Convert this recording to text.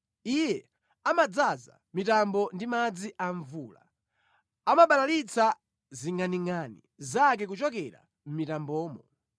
Iye amadzaza mitambo ndi madzi a mvula, amabalalitsa zingʼaningʼani zake kuchokera mʼmitambomo.